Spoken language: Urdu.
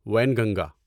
وینگنگا